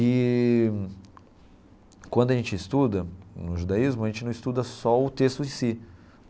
Eee quando a gente estuda no judaísmo, a gente não estuda só o texto em si.